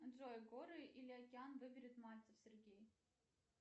джой горы или океан выберет мальцев сергей